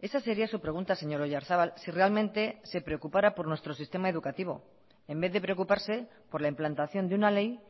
esa sería su pregunta señor oyarzabal si realmente se preocupara por nuestro sistema educativo en vez de preocuparse por la implantación de una ley